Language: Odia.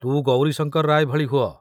ତୁ ଗୌରୀଶଙ୍କର ରାୟ ଭଳି ହୁଅ।